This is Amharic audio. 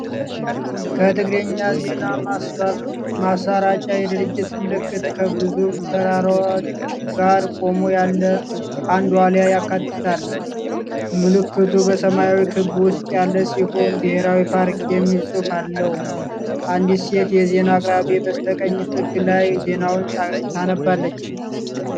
የትግርኛ ዜና ማሰራጫ የድርጅት ምልክት ከግዙፍ ተራሮች ጋር ቆሞ ያለ አንድ ዋልያ ያካትታል። ምልክቱ በሰማያዊ ክብ ውስጥ ያለ ሲሆን "ብሄራዊ ፓርክ" የሚል ጽሑፍ አለው። አንዲት ሴት የዜና አቅራቢ በስተቀኝ ጥግ ላይ ዜናውን ታነባለች።